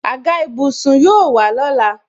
Àga ìbùsùn yóò wà lọ́la